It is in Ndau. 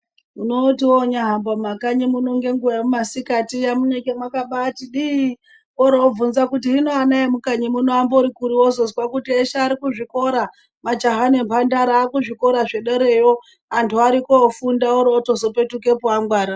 Unoti woonyahamba mukanyi muno ngenguwa yekumasikati iya munenge makabaati dii. Woroobvunza kuti hino ana emukanyi muno ambori kuri wozozwa kuti eshe ari kuzvikora, majaha nemphandara ari kuzvikora zvedereyo. Antu arikoofunda orozopetukepo angwara.